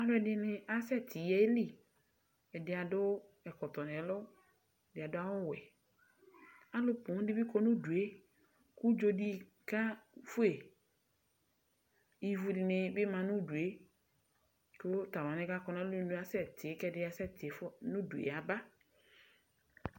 Alʋ ɛdini asɛti yɛli Ɛdi adʋ ɛkɔtɔ nɛlʋ, ɛdi adʋ awʋ wɛ Alʋ poo di bi kɔ nʋ ʋdu e, kʋ udzo di kefue Ivu di ni bi ma nʋ udu e kʋ tʋ alʋ wani kakɔ nʋ alɔnu e asɛti kɛ ɛdini asɛti fua, nʋ udu e yaba